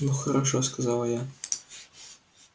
ну хорошо сказала я